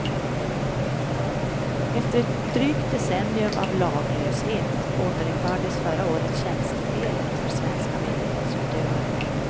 Efter ett drygt decennium av laglöshet återinfördes förra året tjänstefelet för svenska myndighetsutövare.